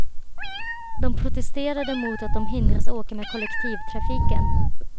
De protesterade mot att de hindras åka med kollektivtrafiken.